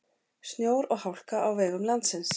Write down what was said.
Snjór og hálka á vegum landsins